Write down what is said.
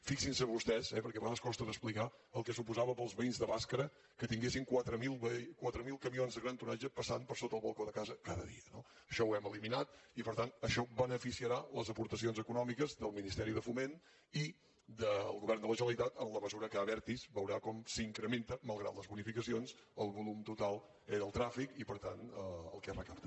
fixin se vostès eh perquè a vegades costa d’explicar el que suposava per als veïns de bàscara que tinguessin quatre mil camions de gran tonatge passant per sota el balcó de casa cada dia no això ho hem eliminat i per tant això beneficiarà les aportacions econòmiques del ministeri de foment i del govern de la generalitat en la mesura que abertis veurà com s’incrementen malgrat les bonificacions el volum total del trànsit i per tant el que es recapta